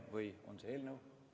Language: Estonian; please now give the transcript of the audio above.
Või on see eelnõu?